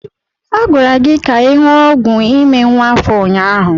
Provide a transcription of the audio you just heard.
A gwara gị ka ị ṅụọ ọgwụ ime nwa afọ ụnyaahụ.